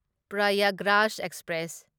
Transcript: Prayagraj express